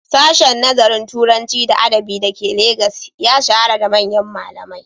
Sashen Nazarin Turanci da Adabi da ke Legas ya shahara da manyan malamai.